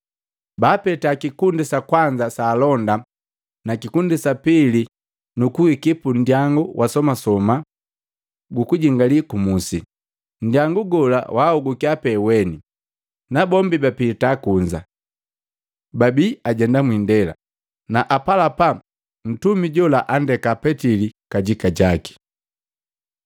Baapeta kikundi sa kwanza sa alonda na kikundi sa pili, nukuiki pundyangu wa somasoma gukujingali kumusi. Ndyangu gola waoguka pee weni, nabombi bapita kunza. Babi ajenda mwiindela na apalapa Ntumi jola andeka Petili kajika jaki.